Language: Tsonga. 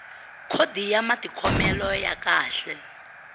khodi ya matikhomelo ya kahle